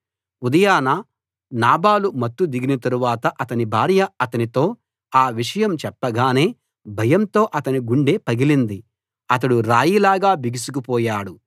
ఉదయాన నాబాలు మత్తు దిగిన తరువాత అతని భార్య అతనితో ఆ విషయం చెప్పగానే భయంతో అతని గుండె పగిలింది అతడు రాయి లాగా బిగుసుకు పోయాడు